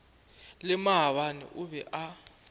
le maabane o be a